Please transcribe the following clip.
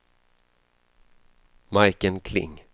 Majken Kling